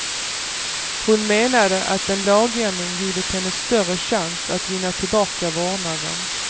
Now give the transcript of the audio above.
Hon menade att en lagändring givit henne större chans att vinna tillbaka vårdnaden.